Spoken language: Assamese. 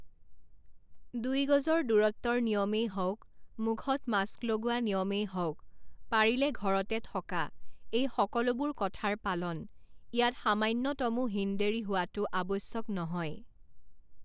দুই গজৰ দূৰত্বৰ নিয়মেই হওক, মুখত মাস্ক লগোৱা নিয়মেই হওক, পাৰিলে ঘৰতে থকা, এই সকলোবোৰ কথাৰ পালন, ইয়াত সামান্যতমো হীন ডেঢ়ি হোৱাটো আৱশ্যক নহয়।